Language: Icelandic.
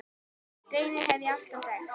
Reyni hef ég alltaf þekkt.